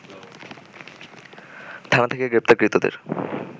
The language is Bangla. থানা থেকে গ্রেপ্তারকৃতদের